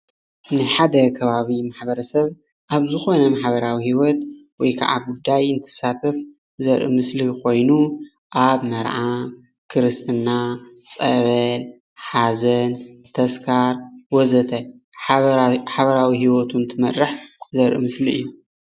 ናይ ሓደ ከባቢ ማሕበረሰብ ኣብ ዝኮነ ማሕበራዊ ሂወት ወይ ከዓ ጉዳይ ዝሳተፍ ዘርኢ ምስሊ ኮይኑ ኣብ መርዓ፣ ክርስትና፣ ፀበል፣ ሓዘን፣ ተስካር ወዘተ ሓበራዊ ሂወቱ እንትመርሕ ዘርኢ ምስሊ እዩ፡፡